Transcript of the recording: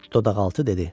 Dodaqaltı dedi.